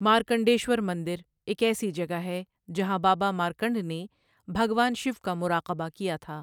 مارکنڈیشور مندر ایک ایسی جگہ ہے جہاں بابا مارکنڈ نے بھگوان شیو کا مراقبہ کیا تھا۔